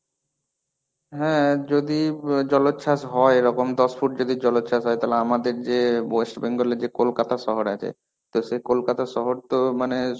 হ্যাঁ, যদি ব জলচ্ছাস হয় এরকম দশ ফুট যদি জলচ্ছাস হয়. তাহলে আমাদের যে West Bengal এর যে কোলকাতা শহর আছে, তো সেই কোলকাতা শহর তো মানে